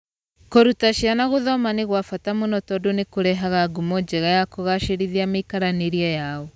Kũruta ciana kuthoma nĩ kwa bata mũno tondũ nĩ kũrehaga ngumo njega na kũgaacĩrithia mĩikaranĩrie yao.